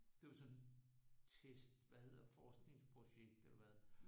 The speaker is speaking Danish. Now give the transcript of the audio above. Det var sådan test hvad hedder forskningsprojekt eller hvad